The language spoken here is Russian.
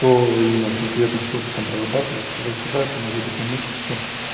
то именно конкретно что ты там прорабатываешь туда-сюда это наводит на мысли что